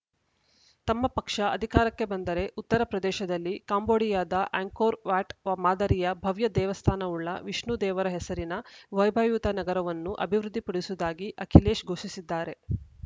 ತಮ್ಮ ಪಕ್ಷ ಅಧಿಕಾರಕ್ಕೆ ಬಂದರೆ ಉತ್ತರ ಪ್ರದೇಶದಲ್ಲಿ ಕಾಂಬೋಡಿಯಾದ ಆ್ಯಂಕೋರ್‌ ವ್ಯಾಟ್‌ ಮಾದರಿಯ ಭವ್ಯ ದೇವಸ್ಥಾನವುಳ್ಳ ವಿಷ್ಣು ದೇವರ ಹೆಸರಿನ ವೈಭವಯುತ ನಗರವನ್ನು ಅಭಿವೃದ್ಧಿ ಪಡಿಸುವುದಾಗಿ ಅಖಿಲೇಶ್‌ ಘೋಷಿಸಿದ್ದಾರೆ